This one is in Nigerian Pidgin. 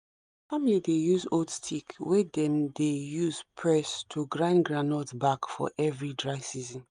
our family dey use old stick wey dem dey use press to grind groundnut back for every dry season